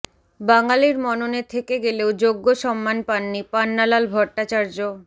বাঙালির মননে থেকে গেলেও যোগ্য সম্মান পাননি পান্নালাল ভট্টাচার্য